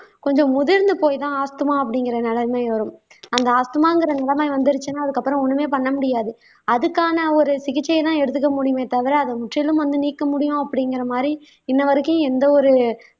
கொஞ்சம் முதிர்ந்து போய்தான் ஆஸ்துமா அப்படிங்கிற நிலைமை வரும் அந்த ஆஸ்துமாங்கற நிலைமை வந்திருச்சுன்னா அதுக்கப்புறம் ஒண்ணுமே பண்ண முடியாது அதுக்கான ஒரு சிகிச்சைதான் எடுத்துக்க முடியுமே தவிர அத முற்றிலும் வந்து நீக்க முடியும் அப்படிங்கற மாதிரி இன்னவரைக்கும் எந்த ஒரு